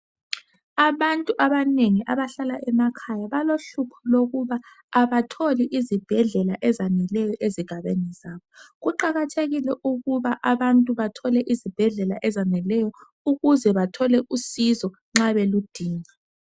Abantu abanengi abadlala emakhaya balohlupho lokuba abatholi izibhedlela ezaneleyo ezigabeni zazo. Kuqakathekile ukuba abantu bathole izibhedlela ezaneleyo ukuze bathole usizo nxa beludinga.